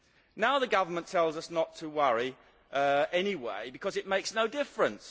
Now the government tells us not to worry anyway, because it makes no difference.